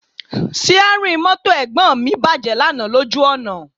Síárìn mọ́tò Ẹ̀gbọ́n mi bàjẹ́ lánàá lójú ọ̀nà